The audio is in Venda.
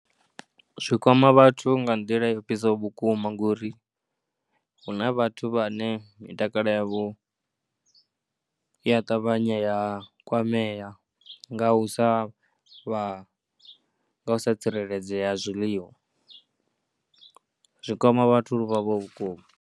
Zwi kwama vhathu nga nḓila i ofhisaho vhukuma ngori hu na vhathu vhane mitakalo yavho i ya ṱavhanya ya kwamea nga u sa vha, nga u sa tsireledzea ha zwiḽiwa. Zwi kwama vhathu vha vha vhuponi.